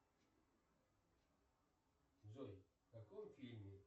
джой в каком фильме